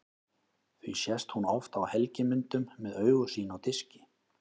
Því sést hún oft á helgimyndum með augu sín á diski.